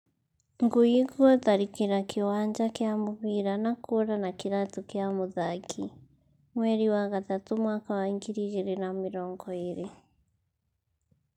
Ngui gutharikira kiwanja kia mubira na kura na kiratu kia muthaki ,mweri wa gatumu mwaka wa ngiri igiri na mirongo iri